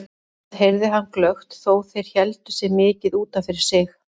Það heyrði hann glöggt þó þeir héldu sig mikið út af fyrir sig.